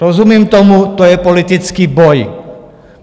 Rozumím tomu, to je politický boj.